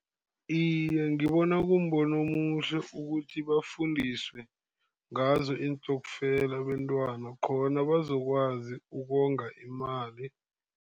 Iye, ngibona kumbono omuhle ukuthi bafundiswe ngazo iintokfela abentwana, khona bazokwazi ukonga imali.